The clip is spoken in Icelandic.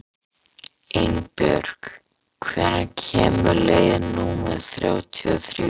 Einbjörg, hvenær kemur leið númer þrjátíu og þrjú?